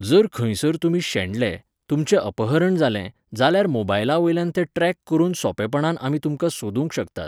जर खंयसर तुमी शेणले, तुमचें अपहरण जालें जाल्यार मोबायला वेल्यान ते ट्रॅक करून सोंपपणान आमी तुमकां सोदूंक शकतात.